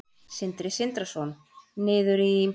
Sindri Sindrason: Niður í?